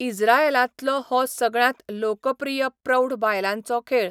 इझ्राएलांतलो हो सगळ्यांत लोकप्रिय प्रौढ बायलांचो खेळ.